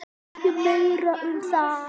Ekki meira um það.